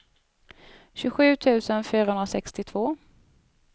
tjugosju tusen fyrahundrasextiotvå